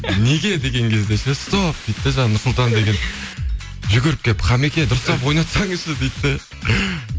неге деген кезде ше стоп дейді де жаңа нұрсұлтан деген жүгіріп келіп хамеке дұрыстап ойнатсаңызшы дейді де